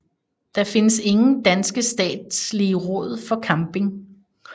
Der findes ingen danske statslige råd for camping